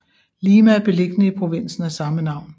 Lima er beliggende i provinsen af samme navn